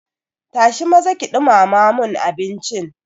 Tashi maza ki ɗumama mun abincin.